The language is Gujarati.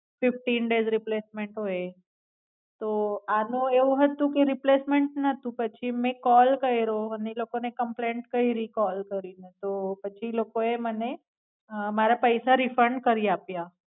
ફિફટિન ડેસ રિપ્લેસમેન્ટ હોય તો આનું એવું હતું કે રિપ્લેસમેન્ટ નતું પછી મેં કોલ કાયરો અને ઈ લોકોને comaplaint કયરી કોલ કરીને તો પછી ઈ લોકોએ મને મારા પૈસા refund કરી આપ્યા.